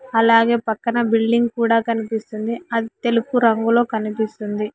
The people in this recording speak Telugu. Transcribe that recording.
అలాగే పక్కన బిల్డింగ్ కూడా కనిపిస్తుంది అది తెలుపు రంగులో కనిపిస్తుంది.